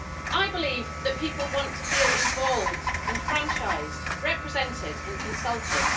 I believe that people want to feel involved, enfranchised, represented and consulted.